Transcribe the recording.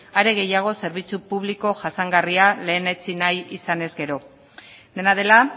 are gehiago zerbitzu publiko jasangarria lehenetsi nahi izanez gero dena dela